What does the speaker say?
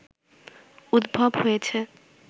উদ্ভব হয়েছে